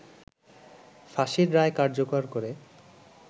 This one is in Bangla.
ফাঁসির রায় কার্যকর করে